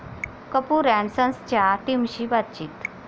Kapoor and सन्स'च्या टीमशी बातचीत